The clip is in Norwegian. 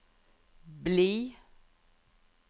bli